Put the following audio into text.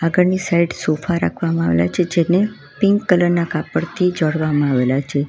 આગળની side sofa રાખવામાં આવ્યા છે જેને પિંક કલર ના કાપડથી જડવામાં આવેલા છે.